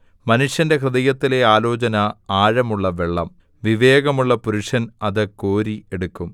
മനുഷ്യന്റെ ഹൃദയത്തിലെ ആലോചന ആഴമുള്ള വെള്ളം വിവേകമുള്ള പുരുഷൻ അത് കോരി എടുക്കും